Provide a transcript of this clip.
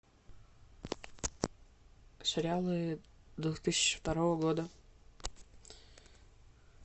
сериалы две тысячи второго года